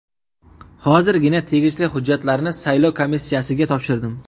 Hozirgina tegishli hujjatlarni saylov komissiyasiga topshirdim.